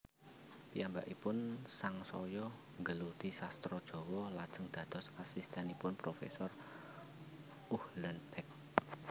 Piyambakipun sangsaya nggeluti sastra Jawa lajeng dados asistènipun profésor Uhlenbeck